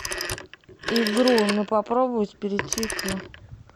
игру на попробовать перейти к